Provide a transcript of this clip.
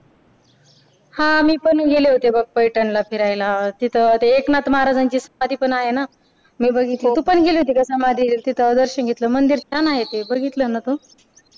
हा मी पण गेले होते बघ पैठणला फिरायला तिथं ते एकनाथ महाराज्यांची समाधी पण आहे ना तू पण गेली होती का समाधी ते मंदिर छान आहे दर्शन घेतलं बघितलं ना तू